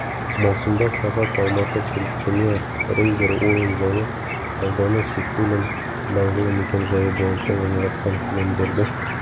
маусымда сағат алматы пультіне рейзер ойын залы ауданы сейфуллин даңғылы мекен-жайы бойынша орналасқан кілемдерді